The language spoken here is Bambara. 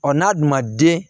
n'a dun ma den